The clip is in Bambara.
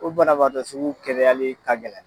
O banabatɔ sugu kɛnɛyali ka gɛlɛn.